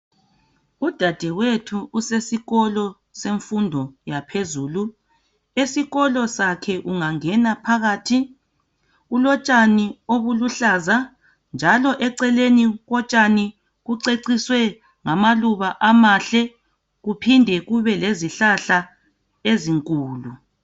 Udadewethu usesikolo semfundo yaphezulu. Esikolo sakhe ungangena phakathi, kulotshani obuluhlaza njalo eceleni kotshani kuceciswe ngamaluba amahle kuphinde kube lezihlahla ezinkulu.